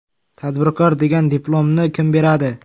Tadbirkor degan diplomni kim beradi?